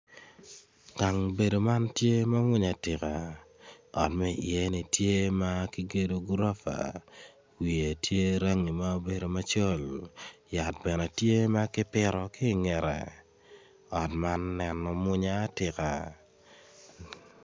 Gang bedo man tye ma mwonya atika ot ma iyeni obedo gurofa wiye tye ma obedo rangi macol yat bene tye ma kipito ki i ngete ot man neno mwonya atika.